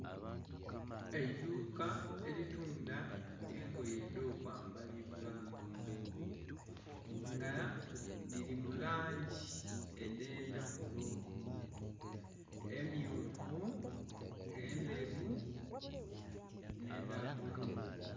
Eidhuka eritundha engoye edho kwambalibwa nga dhilina mu langi edhe ndhaghulo. Emyufu, endheru nhe dha bulu.